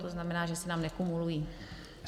To znamená, že se tam nekumulují.